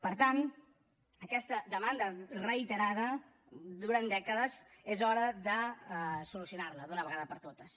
per tant aquesta demanda reiterada durant dècades és hora de solucionar la d’una vegada per totes